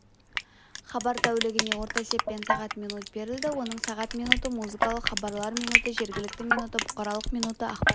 хабар тәулігіне орта есеппен сағат минут берілді оның сағат минуты музыкалық хабарлар минуты жергілікті минуты бұқаралық минуты ақпарат